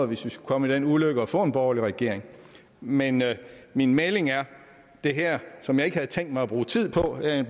hvis vi skulle komme i den ulykke at få en borgerlig regering men min melding er at det her som jeg ikke havde tænkt mig at bruge tid på jeg